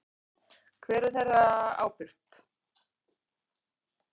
Hver er þeirra ábyrgt?